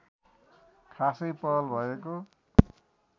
खासै पहल भएको